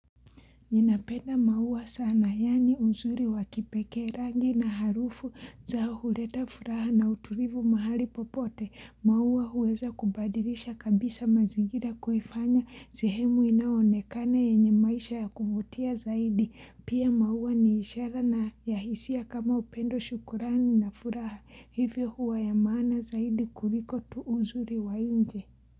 Ninapenda maua sana yaani uzuri wakipekee rangi na harufu zao huleta furaha na uturivu mahali popote. Maua huweza kubadilisha kabisa mazingira kuhifanya sehemu inaonekane yenye maisha ya kuvutia zaidi. Pia maua ni ishara na ya hisia kama upendo shukrani na furaha. Hivyo huwa ya maana zaidi kuliko tu u zuri wa nje.